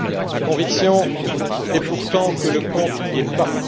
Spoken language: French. Ma conviction est pourtant que le compte n'y est pas.